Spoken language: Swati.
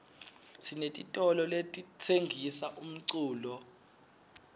sinetitolo letitsengisa umculo